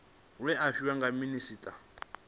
we a fhiwa nga minisita